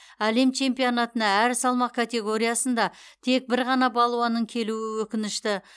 әлем чемпионатына әр салмақ категориясында тек бір ғана балуанның келуі өкінішті